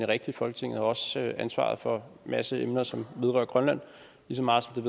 rigtigt folketinget har også ansvaret for masse emner som vedrører grønland lige så meget som